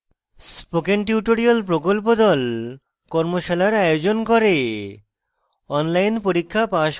spoken tutorial প্রকল্প the কর্মশালার আয়োজন করে